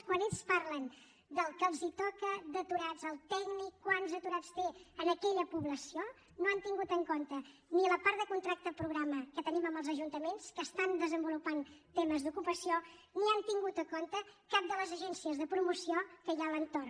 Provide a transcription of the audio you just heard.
quan ells parlen del que els toca d’aturats el tècnic quants aturats té en aquella població no han tingut en compte ni la part de contracte programa que tenim amb els ajuntaments que estan desenvolupant temes d’ocupació ni han tingut en compte cap de les agències de promoció que hi ha a l’entorn